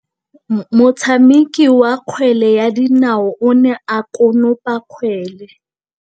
Motshameki wa kgwele ya dinaô o ne a konopa kgwele.